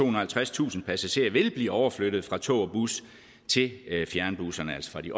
og halvtredstusind passagerer vil blive overflyttet fra tog og bus til fjernbusserne altså fra de